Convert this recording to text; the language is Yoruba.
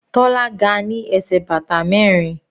Tola ga ní ẹsẹ̀ bàtà mẹrin.